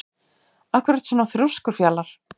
Af hverju ertu svona þrjóskur, Fjalar?